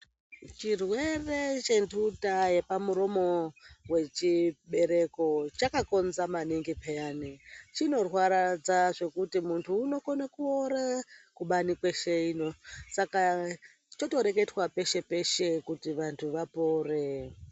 Zchirwere chenduta yepamuromi rechibereko chaka konza manipeya chinorwadza zvekuti muntu unokone kuora kubani kweshe ino saka chotoreketwa kweshe ino kuti antu anofunda apore.